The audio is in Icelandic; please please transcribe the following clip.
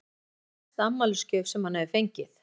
Eru þetta besta afmælisgjöf sem hann hefur fengið?